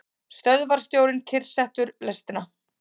Stöðvarstjórinn kyrrsetur lestina.